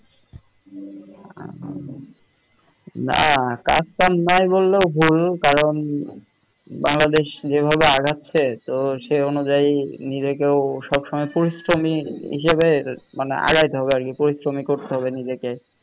না কাজ কাম নাইবললেও ভুল কারন বাংলাদেশ যে ভাবে আগাচ্ছে তো সে অনুযায়ী নিজেকেও কেউ সব সময় পরিশ্রমী হিসেবে মানে আগাইতে হবে আরকি পরিশ্রমী করতে হবে নিজেকে।